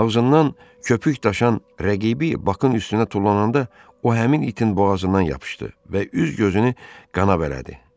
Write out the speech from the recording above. Avzından köpük daşan rəqibi Bakın üstünə tullananda o həmin itin boğazından yapışdı və üz-gözünü qana bələdi.